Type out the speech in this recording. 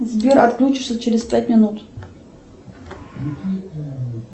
сбер отключишься через пять минут